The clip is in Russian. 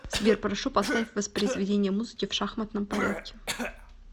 сбер прошу поставь воспроизведение музыки в шахматном порядке